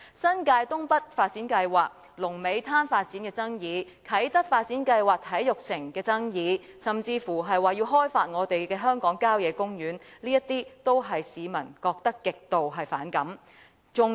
新界東北發展計劃，龍尾灘發展的爭議，啟德發展計劃中體育城的爭議，甚至說要開發香港郊野公園，這些都是市民極度反感的事。